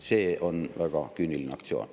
See on väga küüniline aktsioon.